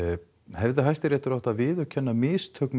hefði Hæstiréttur átt að viðurkenna mistök